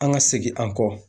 An ka segin an kɔ